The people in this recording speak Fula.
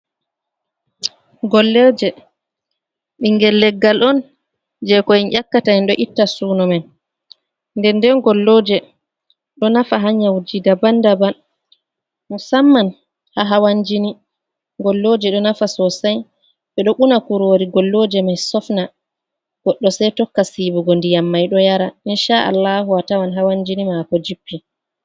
Gollooje, ɓinngel leggal on jey ko en ƴakkata, en ɗo itta suuno men, nden-nden Gollooje ɗo nafa haa nyawuuji daban-daban musamman haa hawan-jini, Gollooje ɗo nafa soosay, ɓe ɗo una kuroori Golloje mai sofna goɗɗo sey tokka siiwugo ndiyam mai ɗo yara insha-Allaahu a tawan hawan-jini maako jippi